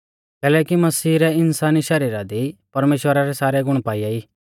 कैलैकि मसीह रै इन्सानी शरीरा दी परमेश्‍वरा रै सारै गुण पाइआ ई